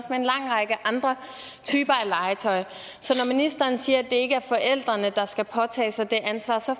en lang række andre typer af legetøj så når ministeren siger at det ikke er forældrene der skal påtage sig det ansvar så